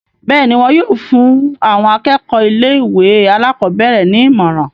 bẹ́ẹ̀ni, wọn yóò fún àwọn akẹ́kọ̀ọ́ ilé ìwé àkọ́bẹ̀rẹ̀ ní ìmọ̀ràn